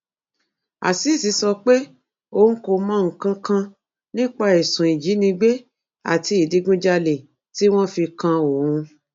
azeez sọ pé òun kò mọ nǹkan kan nípa ẹsùn ìjínigbé àti ìdígunjalè tí wọn fi kan òun